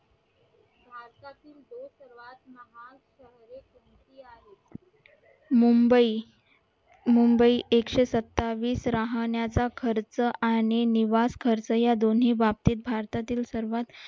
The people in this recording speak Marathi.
मुंबई मुंबई एकशे सत्तावीस राहण्याचा खर्च आणि निवास खर्च या दोन्ही बाबतीत भारतातील सर्वात